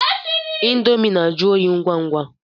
Índomi na-ajụ óyi ngwa ngwa.